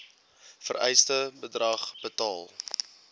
vereiste bedrag betaal